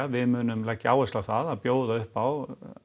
við munum leggja áherslu á það að bjóða upp á